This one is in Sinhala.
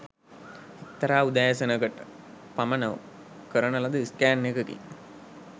එක්තරා උදෑසනක . ට පමණ කරන ලද ස්කෑන් එකකින්